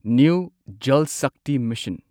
new Jal Shakti mission